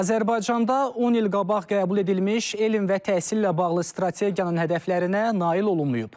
Azərbaycanda 10 il qabaq qəbul edilmiş elm və təhsillə bağlı strategiyanın hədəflərinə nail olunmayıb.